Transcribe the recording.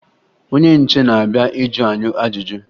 Onye nche na-abịa ịjụ anyị ajụjụ